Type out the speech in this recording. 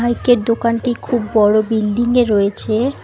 Bike -এর দোকানটি খুব বড়ো বিল্ডিং -এ রয়েছে।